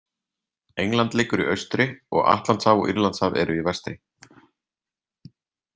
England liggur í austri og Atlantshaf og Írlandshaf eru í vestri.